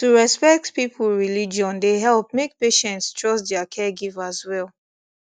to respect people religion dey help make patients trust their caregivers well